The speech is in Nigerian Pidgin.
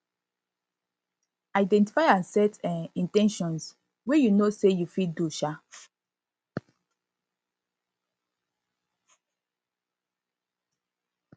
identify and set um in ten tions wey you know sey you fit do um